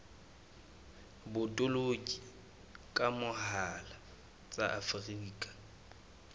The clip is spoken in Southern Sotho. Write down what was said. botoloki ka mohala tsa afrika